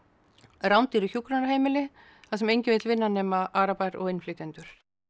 rándýru hjúkrunarheimili þar sem enginn vill vinna nema arabar og innflytjendur